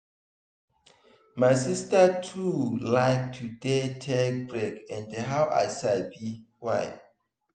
my sister too like to dey take break and now i sabi why.